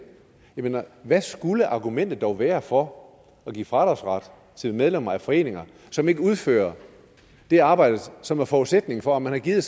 mener at hvad skulle argumentet dog være for at give fradragsret til medlemmer af foreninger som ikke udfører det arbejde som er forudsætningen for at man har givet